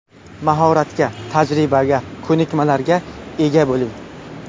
Mahoratga, tajribaga, ko‘nikmalarga ega bo‘ling.